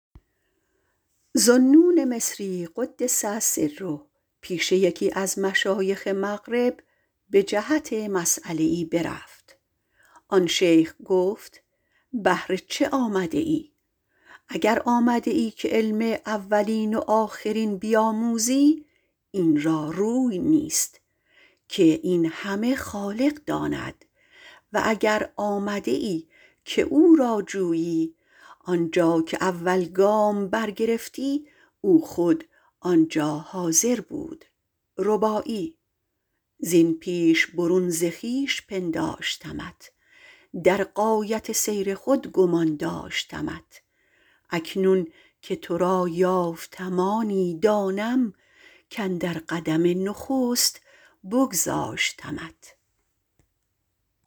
ذوالنون - قدس سره - پیش یکی از مشایخ مغرب رفت به جهت مسیله ای گفت بهر چه آمدی اگر آمده ای که علم اولین و آخرین بیاموزی آن را روی نیست این همه خالق داند و اگر آمده ای که او را جویی آنجا که اول گام برگرفتی او خود آنجا بود زین پیش برون ز خویش پنداشتمت در غایت سیر خود گمان داشتمت اکنون که تو را یافتم آنی دانم کاندر قدم نخست بگذاشتمت